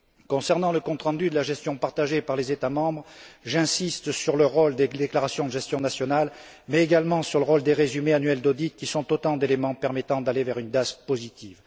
Concernant le compte rendu de la gestion partagée par les États membres, j'insiste sur le rôle des déclarations de gestion nationale, mais également sur le rôle des résumés annuels d'audit qui sont autant d'éléments permettant d'aller vers une DAS positive.